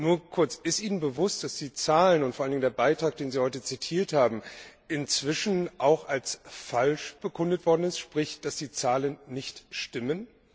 Doch ist Ihnen bewusst, dass die Zahlen und vor allen Dingen der Beitrag, den Sie heute zitiert haben, inzwischen auch als falsch bekundet worden sind, sprich, dass die Zahlen nicht stimmen?